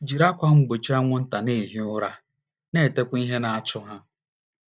Jiri ákwà mgbochi anwụnta na - ehi ụra, na - etekwa ihe na - achụ ha.